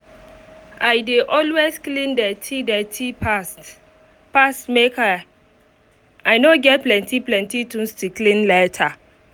i dey always clean dirty dirty fast fast make i um no get plenty things to clean later